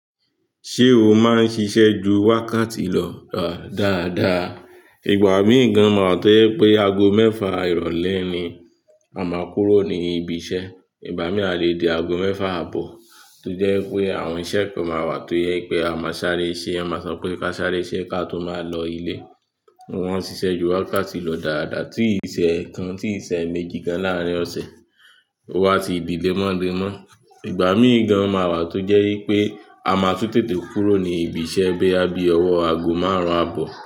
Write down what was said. Ṣé o máa ń ṣiṣẹ́ ju wákàtí lọ dáadáa? Ìgbà míì gan máa wà tó yẹ pé ago mẹ́fa ìrọ̀lẹ́ ni a máa kúrò ní ibi iṣẹ́. Ìbá mí à lè di ago mẹ́fa àbọ̀ tó jẹ́ pé àwọn iṣẹ́ kan máa wà tó yẹ pé a máa sáré sé, ẹ máa sọ pé ká sáré ṣé ka tó máa lọ ilé? Wọ́n ń ṣiṣẹ́ ju wákàtí lọ dáadáa, tí ìṣẹ̀ kan, tí ìṣẹ̀ méjì gan láàrín ọ̀sẹ̀. Wa ti dí lé mọ́ le mọ́. Ìgbà míì gan máa wà tó jẹ́ yí pé a máa tún tètè kúrò ní ibi iṣẹ́ biya bí ọwọ́ ago márùn-ún àbọ̀.